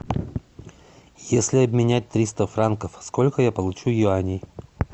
если обменять триста франков сколько я получу юаней